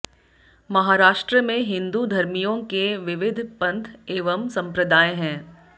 महाराष्ट्र में हिन्दू धर्मियों के विविध पंथ एवं संप्रदाय हैं